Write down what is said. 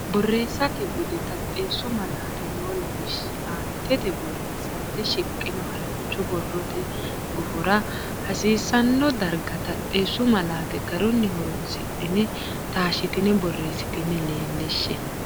Borreessate Bude Taxxeessu Malaate noo lawishshi aantete borreessante shiqqino harancho borrote gufora hasiisanno darga taxxeessu malaate garunni horonsidhine taashshitine borreessitine leellishshe.